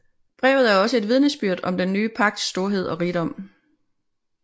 Brevet er også et vidnesbyrd om den nye pagts storhed og rigdom